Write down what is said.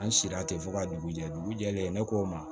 An sira ten fɔ ka dugu jɛ dugu jɛlen ne ko n ma